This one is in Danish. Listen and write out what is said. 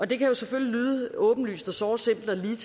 det kan jo selvfølgelig lyde åbenlyst og såre simpelt